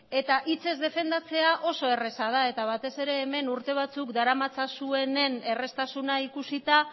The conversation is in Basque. eta hitzez defendatzea oso erreza da eta batez ere hemen urte batzuk daramatzazuenen erraztasuna ikusita